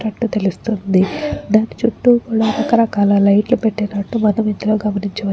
తన చుట్టూ రకరకాల లైట్లు పెట్టినట్లు మనం దీంట్లోనే గమనించవచ్చు.